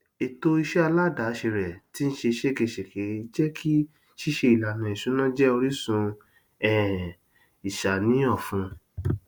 ètò iṣẹ aládàáse rẹ tín ṣe ṣégegège jékí ṣíṣe ìlànà ìṣúná jẹ orísun um ìṣàníyàn fún